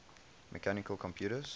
mechanical computers